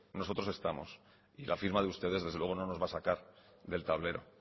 nosotros estamos y la firma de ustedes desde luego no nos va a sacar del tablero